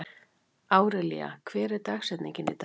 Árelía, hver er dagsetningin í dag?